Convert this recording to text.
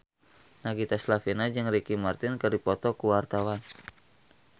Nagita Slavina jeung Ricky Martin keur dipoto ku wartawan